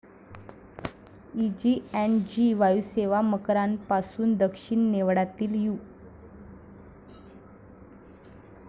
Easy and G वायुसेवा मकरांपासून दक्षिण नेवडातील यु.